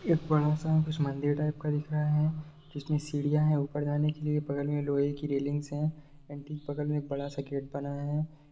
एक बड़ा सा कुछ मंदिर टाइप का दिख रहा है जिसमें सीढ़ियाॅं हैं ऊपर जाने के लिए बगल में लोहे की रेलिंग्स हैं एण्ड ठीक बगल में बड़ा सा गेट बना है।